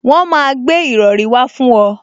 Wọn máa gbé ìrọrí wá fún ọ